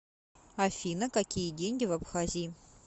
афина какие деньги в абхазии